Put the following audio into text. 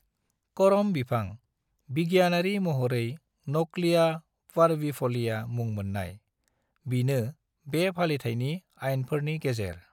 करम बिफां, बिगियानारि महरै न'क्लिया पारविफ'लिया मुं मोननाय, बिनो बे फालिथायनि आइनफोरनि गेजेर।